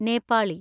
Nepali